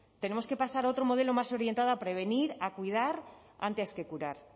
tenemos que pasar otro modelo más orientado a prevenir a cuidar antes que curar